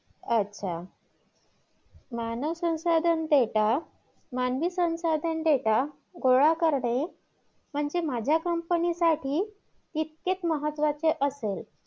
अच्छा मानवसंशाधन delta देता मानवी संसाधन delta केला गोळा करते म्हणजे माझ्या Company साठी तितकेच महत्वाचे असेल